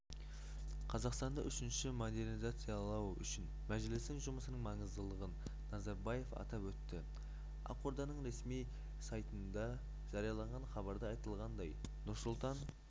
қазақстанды үшінші модернизациялау үшін мәжілістің жұмысының маңыздылығын назарбаев атап өтті ақорданың ресми сайтындажарияланған хабарда айтылғандай нұрсұлтан